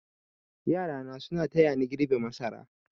Yarana suna tayani girbe masara.